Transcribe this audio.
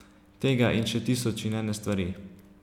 Tega in še tisoč in ene stvari.